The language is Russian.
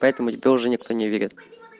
поэтому тебе уже никто не верит